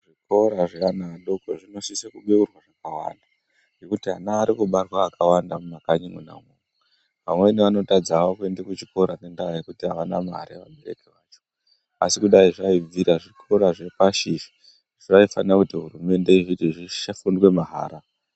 Zvikoro zveana adoko zvinosise kubeurwa zvakawanda ngekuti ana ari kubarwa akawanda mumakanyi mwona umwu. Amweni anotadza hawo kuenda kuzvikora ngendaa yekuti avana mare. Asi kudai zvaibvira zvikora zvepashi izvi hurumende yaisisa kuti zvifundwe mahala.